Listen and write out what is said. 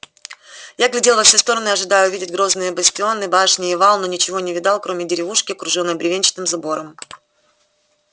я глядел во все стороны ожидая увидеть грозные бастионы башни и вал но ничего не видал кроме деревушки окружённой бревенчатым забором